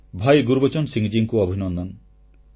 ଭାଇ ଗୁରବଚନ ସିଂହ ମହାଶୟଙ୍କୁ ଅଭିନନ୍ଦନ